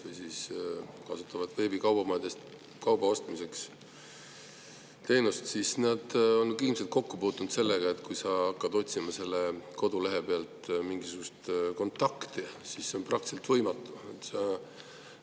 Kõik, kes kasutavad veebikaubamajadest kauba ostmise teenust, on ilmselt kokku puutunud sellega, et kui sa hakkad otsima sellelt kodulehelt mingisugust kontakti, siis seda on praktiliselt võimatu.